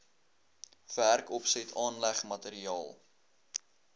werkopset aanleg materiaal